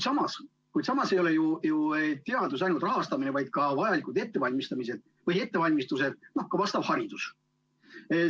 Kuid samas ei ole teadus ju ainult rahastamine, vaid ka vajalikud ettevalmistused, ka vastav haridus.